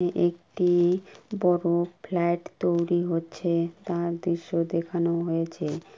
একটি বড় ফ্ল্যাট তৈরি হচ্ছে। তার দৃশ্য দেখানো হয়েছে।